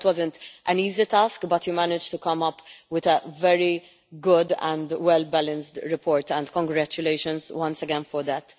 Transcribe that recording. I know it wasn't an easy task, but you managed to come up with a very good and well balanced report, and congratulations once again for that.